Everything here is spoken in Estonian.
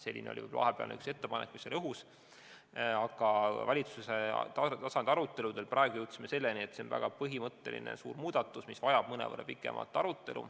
Selline ettepanek oli vahepeal õhus, aga valitsuse tasandi aruteludel me jõudsime selleni, et see on väga põhimõtteline suur muudatus, mis vajab mõnevõrra pikemat arutelu.